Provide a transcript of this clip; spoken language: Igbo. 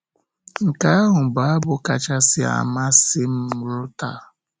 Nke ahụ bụ abụ kachasị amasị m ruo taa.